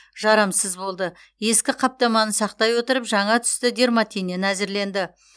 жарамсыз болды ескі қаптаманы сақтай отырып жаңа түсті дерматиннен әзірленді